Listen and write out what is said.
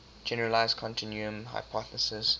generalized continuum hypothesis